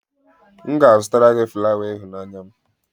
M ga-azụtara gị flawa ịhụnanya m